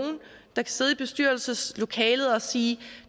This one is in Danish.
der kan sidde i bestyrelseslokalet og sige